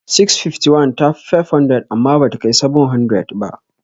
651 ta fi 500 amma bata kai 700.